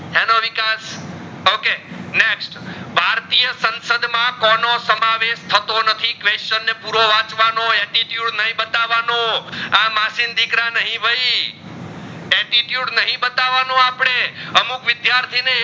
માં કોનો સમાવેસ થતો નથી question પૂરો વચવાનો attitude નહીં બતાવાનું આ માસી ના દીકરા નહીં ભાઈ attitude નહીં બતાવાનો આપડે અમુક વિદ્યાર્થી